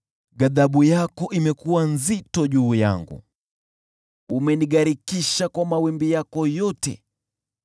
Ghadhabu yako imekuwa nzito juu yangu, umenigharikisha kwa mawimbi yako yote.